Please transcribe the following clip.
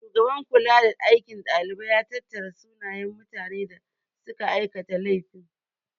Shugaban kulada aikin dalibai ya tattara sunayen mutane da suka aikata laifin.